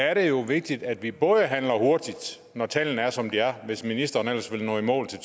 er det jo vigtigt at vi både handler hurtigt når tallene er som de er hvis ministeren ellers vil nå i mål til